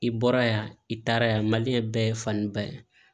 I bɔra yan i taara yan bɛɛ ye faniba ye